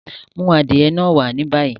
Mú adiẹ̀ náà wà ní báyí!